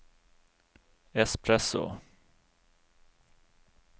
espresso